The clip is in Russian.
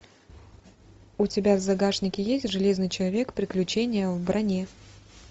у тебя в загашнике есть железный человек приключения в броне